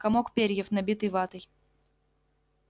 комок перьев набитый ватой